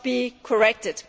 This must be corrected.